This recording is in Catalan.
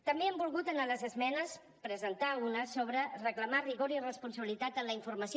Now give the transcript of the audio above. també hem volgut a les esmenes presentar ne una sobre reclamar rigor i responsabilitat en la informació